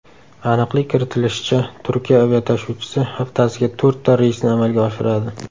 Aniqlik kiritilishicha, Turkiya aviatashuvchisi haftasiga to‘rtta reysni amalga oshiradi.